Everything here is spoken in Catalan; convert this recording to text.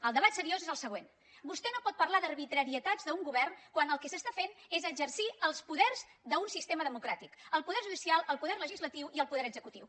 el debat seriós és el següent vostè no pot parlar d’arbitrarietats d’un govern quan el que s’està fent és exercir els poders d’un sistema democràtic el poder judicial el poder legislatiu i el poder executiu